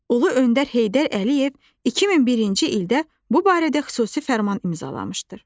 Ulu öndər Heydər Əliyev 2001-ci ildə bu barədə xüsusi fərman imzalamışdı.